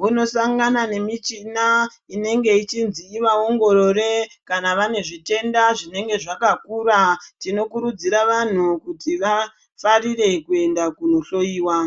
vonosangana nemichina, inenge ichinzi ivaongorore kana vane zvitenda zvinenge zvakakura, tinokurudzira vanhu kuti vafarire kuenda kunohloiwa.